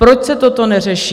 Proč se toto neřeší?